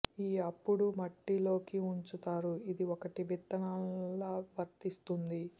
ఈ అప్పుడు మట్టి లోకి ఉంచుతారు ఇది ఒకటి విత్తనాల వర్తిస్తుంది